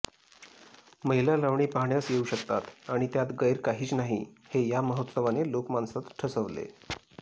महिला लावणी पाहण्यास येऊ शकतात आणि त्यात गैर काहीच नाही हे या महोत्सवाने लोकमानसात ठसवले